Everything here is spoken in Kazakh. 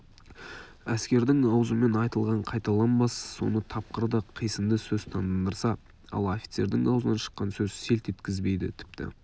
әскердің аузымен айтылған қайталанбас соны тапқыр да қисынды сөз таңдандырса ал офицердің аузынан шыққан сөз селт еткізбейді тіпті